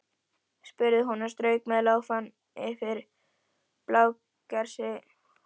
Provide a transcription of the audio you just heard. spurði hún og strauk með lófa yfir blágresi og sóleyjar.